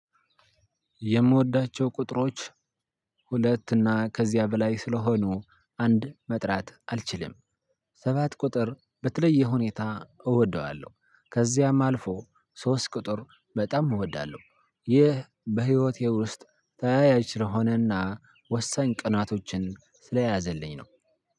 የምወዳቸው ቁጥሮች ሁለት እና ከዚያ በላይ ስለሆኑ አንድ መጥራት አልችልም ሰባት ቁጥር በተለየ ሁኔታ እወደዋለሁ። ከዚያም አልፎ ሶስት ቁጥር በጣም እወዳለሁ። ይህ በህይወቴ ውስጥ ተያያዥ ስለሆነና ወሳኝ ቀናቶችን ስለያዘልኝ ነው።